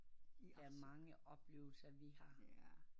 Der er mange oplevelser vi har